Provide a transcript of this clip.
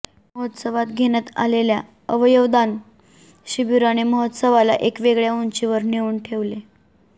महोत्सवात घेण्यात आलेल्या अवयवदान शिबिराने महोत्सवाला एका वेगळय़ा उंचीवर नेऊन ठेवले